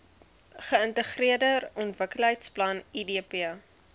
geintegreerde ontwikkelingsplan idp